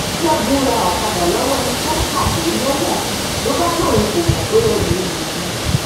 ṣẹgun ra ọkadà lọwọ ẹni tó pàdé lẹwọn ló bá lóun kò mọ pé ẹrú olè ni